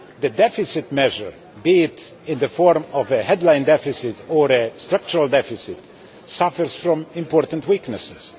The deficit measure, be it in the form of a headline deficit or a structural deficit, suffers from important weaknesses.